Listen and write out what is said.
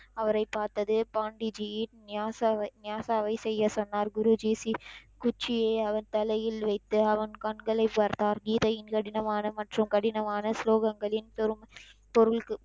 அவரைப் பார்த்தது பாண்டி ஜி யின் ஞாயாசவை ஞாயாசாவை செய்ய சொன்னார் குருஜி ஸி குச்சியை அவர் தலையில் வைத்து அவன் கண்களை பார்த்தார் கீதையின் கடினமான மற்றும் கடினமான சுலோகங்களின் தரும் பொருள்,